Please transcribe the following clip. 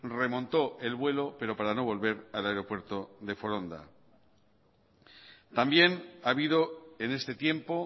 remontó el vuelo pero para no volver al aeropuerto de foronda también ha habido en este tiempo